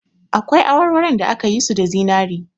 Akwai awarwaron da aka yi su da zinari